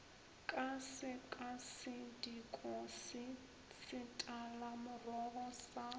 ka sekasediko se setalamorogo go